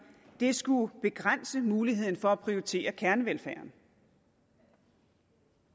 skulle begrænse muligheden for at prioritere kernevelfærden